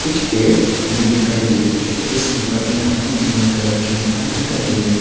कुछ पेड़ हमें दिखाई दे रहे है जिसकी पत्तियां हमें ग्रीन कलर की यहां दिखाई दे रही है।